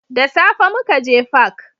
Da safe mukaje fak